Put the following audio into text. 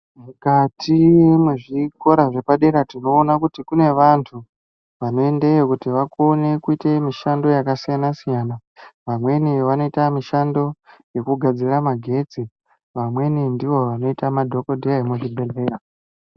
Mukati mwezvikora zvepadera ndinoona kuti kune vantu vanoendeyo kuti vakone kuita mishando yakasiyana-siyana, vamweni vanoita mishando yekugadzira magetsi vamweni ndivo vanoita madhogodheya emuzvibhedhlera.